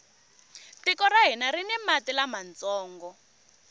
tiko ra hina rini mati lamantsongo